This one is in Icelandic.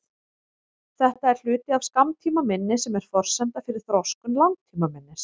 Þetta er hluti af skammtímaminni sem er forsenda fyrir þroskun langtímaminnis.